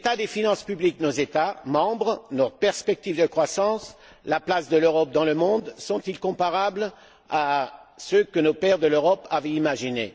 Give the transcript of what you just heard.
L'état des finances publiques de nos États membres, notre perspective de croissance, la place de l'Europe dans le monde sont ils comparables à ce que les pères de l'Europe avaient imaginé?